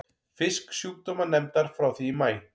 Fisksjúkdómanefndar frá því í maí.